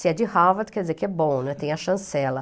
Se é de Harvard, quer dizer que é bom, né, tem a chancela.